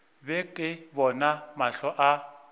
be ke bona mahlo a